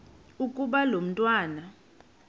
ukuba lo mntwana